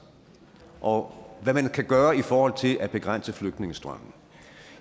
og hvad man kan gøre i forhold til at begrænse flygtningestrømmen